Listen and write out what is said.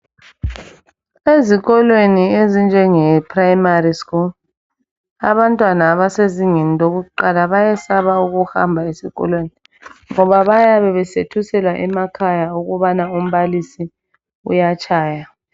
Ezikolweni ezinjenge primary school abantwana abasezingeni lokuqala bayesaba ukuhamba esikolweni ngoba bayabe besethuselwa emakhaya ukubana umbalisi uyatshaya.